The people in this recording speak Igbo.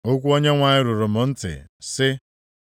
Okwu Onyenwe anyị ruru m ntị, sị,